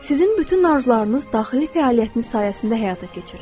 Sizin bütün arzularınız daxili fəaliyyətiniz sayəsində həyata keçir.